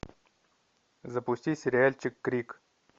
запусти сериальчик крик